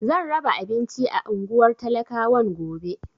Zan raba abinci a unguwar talakawan gobe.